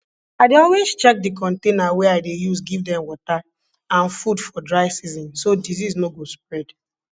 i dey always check di container wey i dey use give dem water and food for dry season so disease no go spread